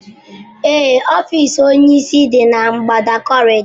Ee ọfiisi onyisi dị na ngbada kọrịịdọ